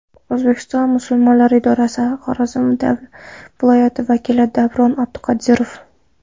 O‘zbekiston musulmonlari idorasi Xorazm viloyati vakili Davron Abduqodirov.